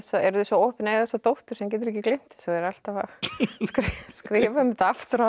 eru þau svo óheppin að eiga þessa dóttur sem getur ekki gleymt þessu og er alltaf að skrifa um þetta aftur